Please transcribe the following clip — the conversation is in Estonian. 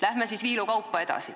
Läheme siis viilukaupa edasi.